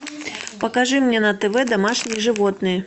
покажи мне на тв домашние животные